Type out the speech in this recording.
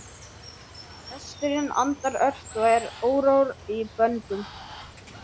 Hesturinn andar ört og er órór í böndum.